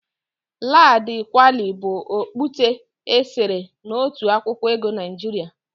Ladi Kwali bụ ọkpụite e sere na otu akwụkwọ ego Naịjiria.